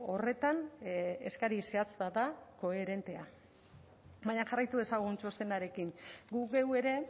horretan eskari zehatz bat da koherentea baina jarraitu dezagun txostenarekin gu geu ere